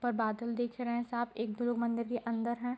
उपर बादल दिख रहें हैं साफ एक दो लोग मंदिर के अंदर हैं।